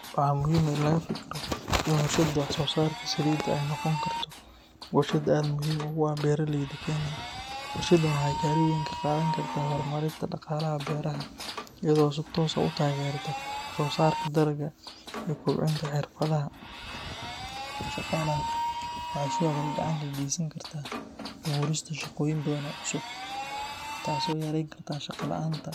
Waxaa muhiim ah in laga fikiro in warshadda wax soo saarka Salida ay noqon karto warshad aad muhiim ugu ah beeraleeyda Kenya. Warshaddan waxay kaalin weyn ka qaadan kartaa horumarinta dhaqaalaha beeraha iyadoo si toos ah u taageerta wax soo saarka dalagga iyo kobcinta xirfadaha shaqaalaha. Waxay sidoo kale gacan ka geysan kartaa abuurista shaqooyin badan oo cusub, taasoo yareyn karta shaqo la’aanta